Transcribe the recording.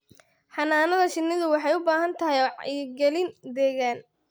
Xannaanada shinnidu waxay u baahan tahay wacyigelin deegaan.